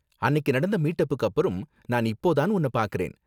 அன்னிக்கு நடந்த மீட் அப்புக்கு அப்பறம் நான் இப்போ தான் உன்ன பார்க்கறேன்.